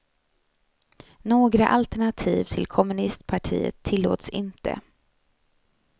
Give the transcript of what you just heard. Några alternativ till kommunistpartiet tillåts inte.